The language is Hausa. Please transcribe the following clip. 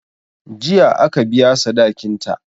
Jiya aka biya sadikinta.